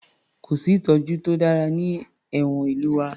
Kò sí ìtọ́jú to dára ní ẹ̀wọ̀n ìlú wa